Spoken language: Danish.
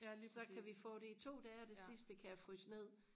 så kan vi få det i to dage og det sidste kan jeg fryse ned